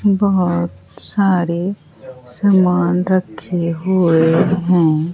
बहोत सारे सामान रखे हुए हैं।